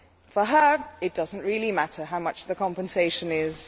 For her, it does not really matter how much the compensation is.